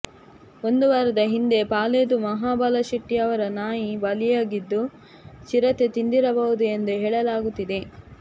ಒಂದು ವಾರದ ಹಿಂದೆ ಪಾಲೇದು ಮಹಾಬಲ ಶೆಟ್ಟಿ ಎಂಬವರ ನಾಯಿ ಬಲಿಯಾಗಿದ್ದು ಚಿರತೆ ತಿಂದಿರಬಹುದು ಎಂದು ಹೇಳಲಾಗುತ್ತಿದೆ